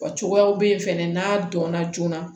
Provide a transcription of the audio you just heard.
Wa cogoyaw be yen fɛnɛ n'a dɔnna joona